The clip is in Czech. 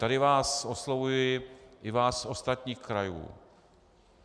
Tady vás oslovuji, i vás z ostatních krajů.